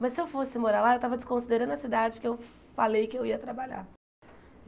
Mas, se eu fosse morar lá, eu estava desconsiderando a cidade que eu falei que eu ia trabalhar.